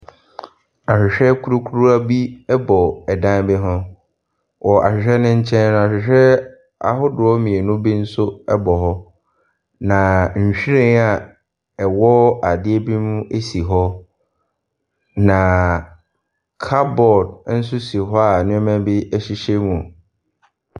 Ahwehwɛ kurukuruwa bi bɔ dan bi ho. Wɔ ahwehwɛ no nkyɛn no, ahwehwɛ ahodoɔ mmienu bi nso bɔ hɔ, na nhwiren a ɛwɔ adeɛ bi mu si hɔ, na cupboard nso si hɔ a nneɛma bi sisi ho.